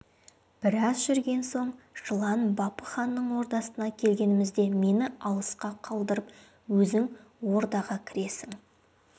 біраз жүрген соң жылан бапы ханның ордасына келгенімізде мені алысқа қалдырып өзің ордаға кіресің